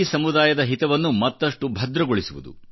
ಸಮುದಾಯದ ಹಿತವನ್ನು ಮತ್ತಷ್ಟು ಭದ್ರಗೊಳಿಸುವುದು